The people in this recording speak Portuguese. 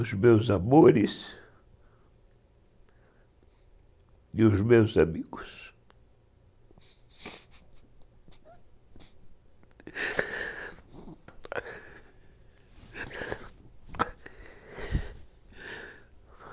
Os meus amores e os meus amigos.